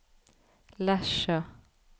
Lesja